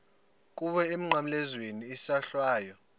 kuwe emnqamlezweni isohlwayo